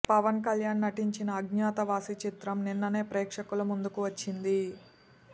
పవన్ కళ్యాణ్ నటించిన అజ్ఞాతవాసి చిత్రం నిన్ననే ప్రేక్షకుల ముందుకు వచ్చింది